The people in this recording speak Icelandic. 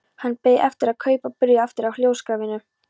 Hann beið eftir að kaupar byrjuðu aftur á hljóðskrafinu.